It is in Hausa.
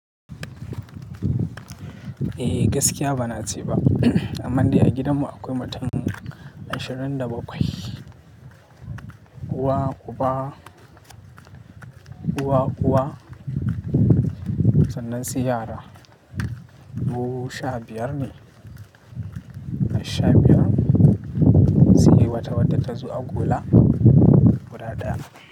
Eh gaskiya ba na ce ba, amma dai a gidanmu akwai mutun ashirin da bakwai. Uwa, uba, uwa, uwa sannan sai yara mu sha biyar ne. Ash sha biyar, sai wata wata ta zo a gola guda daya.